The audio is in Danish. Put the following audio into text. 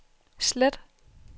slet